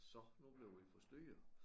Så nu bliver vi forstyrret